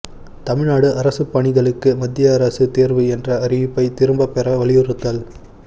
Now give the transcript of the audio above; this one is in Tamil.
தமிழ்நாடு அரசுப் பணிகளுக்கு மத்திய அரசுத் தோ்வு என்ற அறிவிப்பை திரும்பப் பெற வலியுறுத்தல்